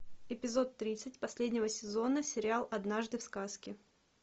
эпизод тридцать последнего сезона сериал однажды в сказке